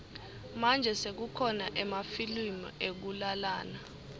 manje sekukhona emafilimu ekulalana